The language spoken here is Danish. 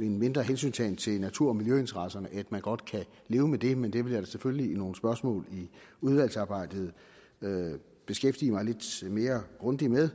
en mindre hensyntagen til natur og miljøinteresserne at man godt kan leve med det men det vil jeg da selvfølgelig i nogle spørgsmål i udvalgsarbejdet beskæftige mig lidt mere grundigt med